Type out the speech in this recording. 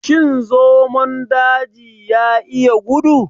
Shin zomon daji ya iya gudu?